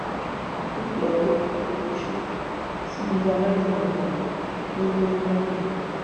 dúkìá olówó iyebíye ṣòfò sínú ilé alájà mẹta tó wọ nìbàdàn